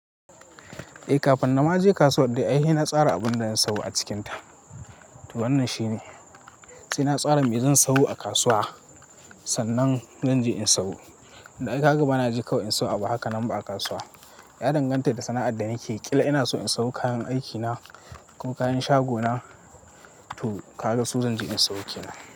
Eh, kafin na je kasuwa dai ai sai na tsara abun da zan sayo a cikinta. To wannan shine, sai na tsara me zan sayo a kasuwa, sannan zan je in sayo. Don ai kaga bana je kawai in sayo abu haka nan ba a kasuwa. Ya danganta da sana'ar da nake, ƙila ina so in sayo kayan aikina, ko kayan shaguna. Toh, kaga su zan je in sayo ke nan.